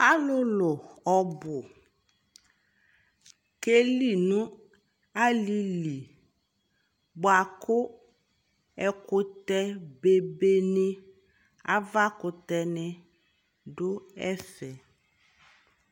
alʋ lʋ ɔbʋ kɛ li nʋ alili bʋakʋ ɛkʋtɛ bɛbɛ ni aɣa kʋtɛ ni dʋ ɛvɛ